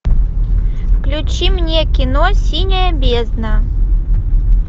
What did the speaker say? включи мне кино синяя бездна